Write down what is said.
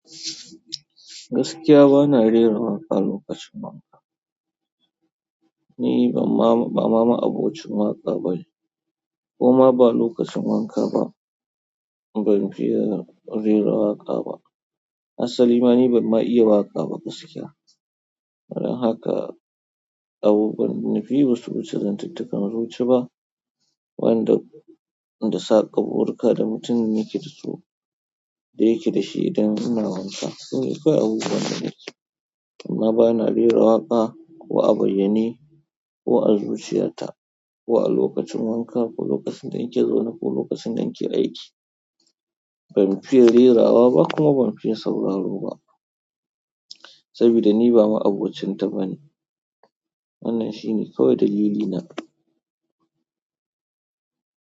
Gaskiya ba na rera waƙa lokacin wanka. Ni ban ma, ba mama abocin waƙa bane. Koma ba lokacin wanka ba, ban fiya rera waƙa ba. Asalima ni ban ma iya waƙa ba gaskiya. Don haka, abubuwan da nafi yi basu wuce zantuttukan zuci ba, wa'inda da saƙa burika da mutum yake da su, da yake da shi idan ina wanka. Ni ba abubuwan da nake. Amma ba na rera waƙa, ko a bayyane, ko a zuciya ta, ko a lokacin wanka, ko lokacin da nake zaune, ko lokacin da nake aiki. Ban fiya rerawa ba kuma ban fiya sauraro ba. Sabida ni ba ma'abocinta bane. Wannan shine kawai dalilina.